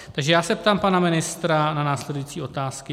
Takže já se ptám pana ministra na následující otázky.